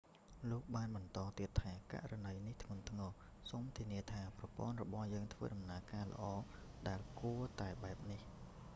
លោកបានបន្តទៀតថា ករណីនេះធ្ងន់ធ្ងរ សូមធានាថាប្រព័ន្ធរបស់យើងដំណើរការល្អដែលគួរតែបែបនេះ